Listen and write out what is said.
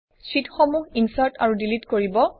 শ্বিটসমূহ insert আৰু delete কৰিব